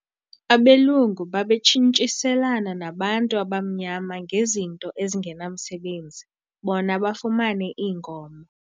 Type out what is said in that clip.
Abelungu babetshintshiselana nabantu abamnyama ngezinto ezingenamsebenzi bona bafumane iinkomo.